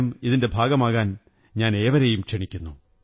ഇതിന്റെ ഭാഗമാകാൻ ഞാൻ ഏവരെയും ക്ഷണിക്കുന്നു